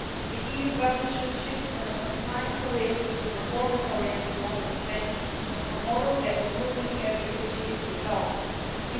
The EU budget should shift from a compliance oriented to a performance oriented model of spending a model that looks at the results achieved.